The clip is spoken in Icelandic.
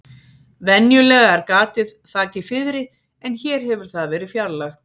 Venjulega er gatið þakið fiðri en hér hefur það verið fjarlægt.